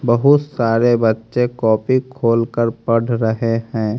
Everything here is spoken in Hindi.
बहुत सारे बच्चे कॉपी खोल कर पढ़ रहे हैं।